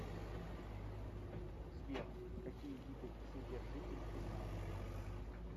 сбер какие виды вседержитель ты знаешь